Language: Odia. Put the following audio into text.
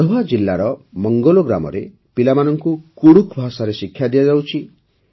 ଗଢ଼ୱା ଜିଲାର ମଙ୍ଗଲୋ ଗ୍ରାମରେ ପିଲାମାନଙ୍କୁ କୁଡ଼ୁଖ୍ ଭାଷାରେ ଶିକ୍ଷା ଦିଆଯାଉଛି